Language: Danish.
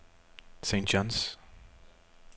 St. John's